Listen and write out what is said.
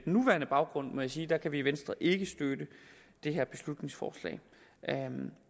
nuværende baggrund må jeg sige at der kan vi i venstre ikke støtte det her beslutningsforslag